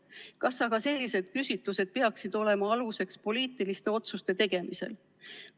Kas aga sellised küsitlused peaksid olema aluseks poliitiliste otsuste tegemisel?